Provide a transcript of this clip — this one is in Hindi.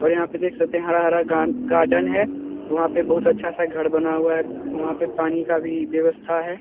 और यहाँ पे देख सकते हैं हरा-हरा गान-गार्डन है वहां पे बहुत अच्छा सा घर बना हुआ है वहां पे पानी का भी व्यवस्था है।